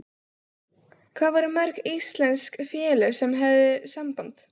Hvað voru mörg íslensk félög sem höfðu samband?